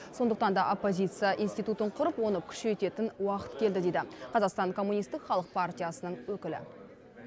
сондықтан да оппозиция институтын құрып оны күшейтетін уақыт келді дейді қазақстан коммунистік халық партиясының өкілі